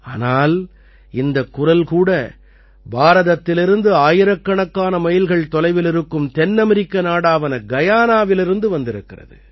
ஆனால் இந்தக் குரல் கூட பாரதத்திலிருந்து ஆயிரக்கணக்கான மைல்கள் தொலைவில் இருக்கும் தென்னமரிக்க நாடான கயானாவிலிருந்து வந்திருக்கிறது